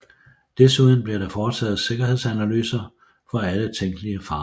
Desuden blev der foretaget sikkerhedsanalyser for alle tænkelige farer